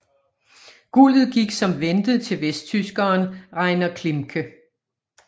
Guldet gik som ventet til vesttyskeren Reiner Klimke